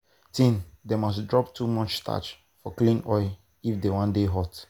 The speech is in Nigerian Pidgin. teen dem must drop too much starch for clean oil if dem wan dey hot.